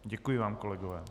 Děkuji vám, kolegové.